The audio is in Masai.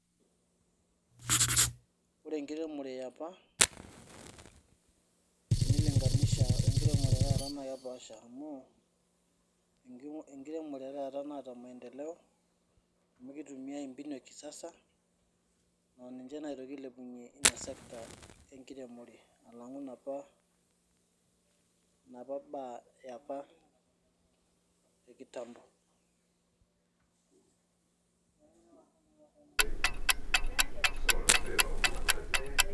woore enkiremore eaapa naa kepaasha amu enkiremore etata naata maendeloe amu kitumai mbinu ekisasa naa kitoki ailepunyiee sector enkiremore alang'u naapa baa eapa ekitambo